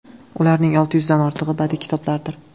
Ularning olti yuzdan ortig‘i badiiy kitoblardir.